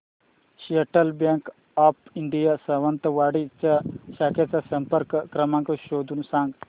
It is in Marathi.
central bank of India Sawantwadi च्या शाखेचा संपर्क क्रमांक शोधून सांग